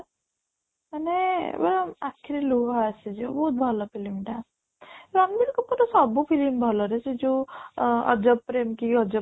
ମାନେ ଵ ଆଖିରେ ଲୁହ ଆସିଯିବ ବହୁତ ଭଲ film ଟା ରଣବୀର କପୂର ର ସବୁ film ଭଲ ରେ ସେ ଯୋଉ